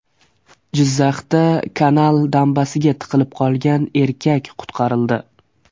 Jizzaxda kanal dambasiga tiqilib qolgan erkak qutqarildi.